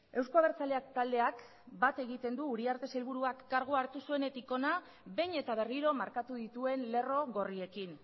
eusko abertzaleak taldeak bat egiten du uriarte sailburuak kargua hartu zuenetik hona behin eta berriro markatu dituen lerro gorriekin